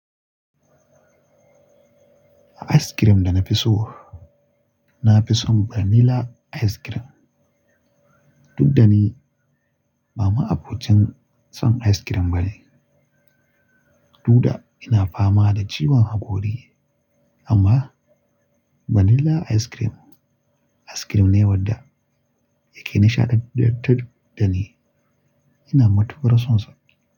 A ice cream da na fi so, na fi son vanilla ice cream. Duk da ni ba ma'abocin son ice cream bane. Duda ina fama da ciwon hakori, amma vanilla ice cream, ice cream ne wadda yake nishaɗantar da ni. Ina matuƙar sonsa.